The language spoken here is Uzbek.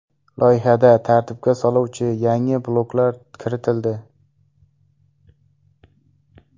Loyihada tartibga soluvchi yangi bloklar kiritildi.